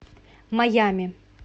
майами